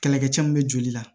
Kɛlɛkɛcɛ min bɛ joli la